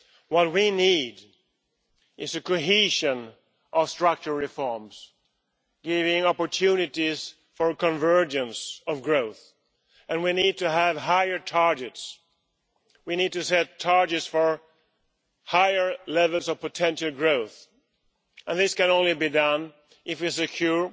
What we need is cohesion or structural reforms, giving opportunities for a convergence of growth, and we need to have higher targets we need to set targets for higher levels of potential growth, and this can only be done if we are secure,